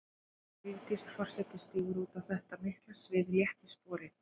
Vigdís forseti stígur út á þetta mikla svið létt í spori.